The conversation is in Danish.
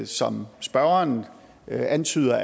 som spørgeren antyder